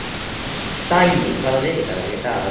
Sæný, hvaða vikudagur er í dag?